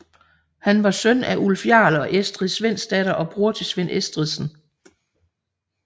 Han var søn af Ulf jarl og Estrid Svendsdatter og bror til Svend Estridsen